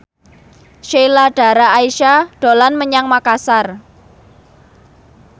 Sheila Dara Aisha dolan menyang Makasar